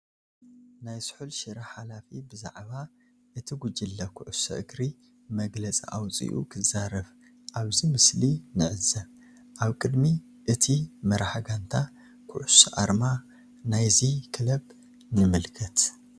ናይ ስሑል ሽረ ሓላፊ ብዛዕባ እቲ ጉጅለ ኩዕሾ እግሪ መግለፂ ኣውፂኡ ክዛረብ ኣብዚ ምስሊ ን ዕዘብ ።ኣብ ቅድሚ እቲ መራሒ ጋንታ ኩዕሾ ኣርማ ናይዚ ክለብ ንምልከት።